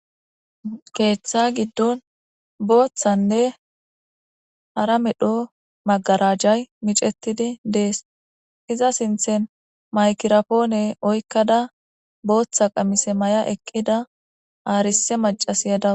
Keeththa gidon bothane hara medho magarajay micetidi deas iza sinten mayigrapone oyikada botha qamise mayada eqida arise macasiya dawu.